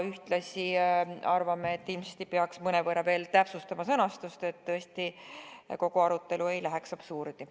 Ühtlasi arvame, et ilmselt peaks tõesti veel mõnevõrra täpsustama sõnastust, et kogu see arutelu ei jõuaks välja absurdini.